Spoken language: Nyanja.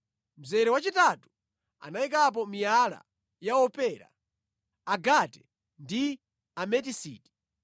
mzere wachitatu anayikapo miyala ya opera, agate ndi ametisiti;